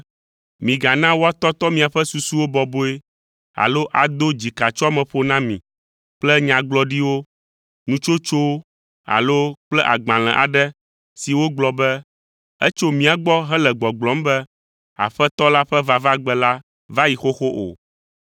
migana woatɔtɔ miaƒe susuwo bɔbɔe alo ado dzikatsoameƒo na mi kple nyagblɔɖiwo, nutsotsowo alo kple agbalẽ aɖe si wogblɔ be etso mía gbɔ hele gbɔgblɔm be Aƒetɔ la ƒe vavagbe la va yi xoxo o.